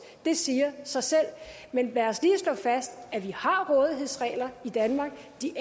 det siger sig selv men lad os lige slå fast at vi har rådighedsregler i danmark de